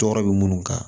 Tɔɔrɔ bɛ munnu kan